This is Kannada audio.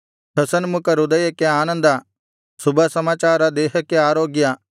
ಹಸನ್ಮುಖ ಹೃದಯಕ್ಕೆ ಆನಂದ ಶುಭಸಮಾಚಾರ ದೇಹಕ್ಕೆ ಆರೋಗ್ಯ